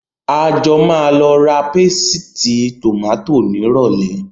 A jọ máa lọ ra pésìtì tòmátò nírọ̀lẹ́